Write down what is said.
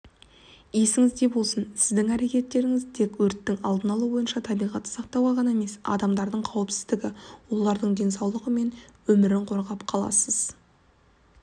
есіңізде болсын сіздің әрекетіңіз тек өрттің алдын алу бойынша табиғатты сақтауға ғана емес адамдардың қауіпсіздігі олардың денсаулығы мен өмірін қорғап қаласыз